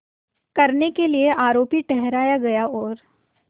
करने के लिए आरोपी ठहराया गया और